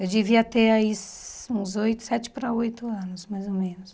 Eu devia ter aí uns oito, sete para oito anos, mais ou menos.